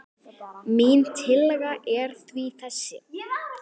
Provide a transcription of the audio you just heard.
Mín tillaga er því þessi